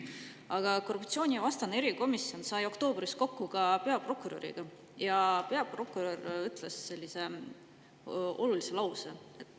Aga korruptsioonivastane erikomisjon sai oktoobris kokku peaprokuröriga ja peaprokurör ütles olulise lause.